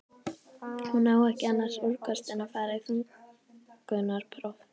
Hún á ekki annars úrkosti en að fara í þungunarpróf.